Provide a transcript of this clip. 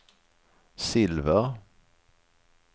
silver